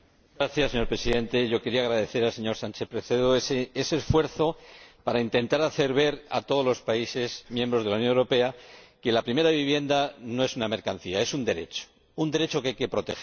Señor Presidente, yo quería agradecer al señor Sánchez Presedo ese esfuerzo para intentar hacer ver a todos los países miembros de la Unión Europea que la primera vivienda no es una mercancía, es un derecho un derecho que hay que proteger.